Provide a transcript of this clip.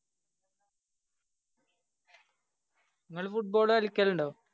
ങ്ങള് football കളിക്കലുണ്ടോ?